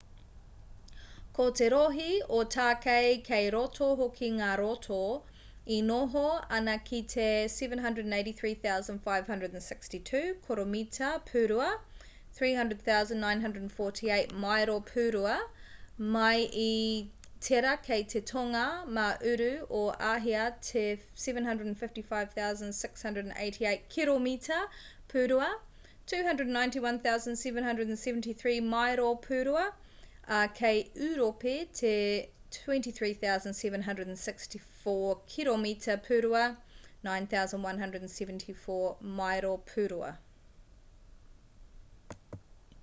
ko te rohe o tākei kei roto hoki ngā roto e noho ana ki te 783,562 koromita pūrua 300,948 maero pūrua mai i tērā kei te tonga mā uru o āhia te 755,688 kiromita pūrua 291,773 maero pūrua ā kei ūropi te 23,764 kiromita pūrua 9,174 maero pūrua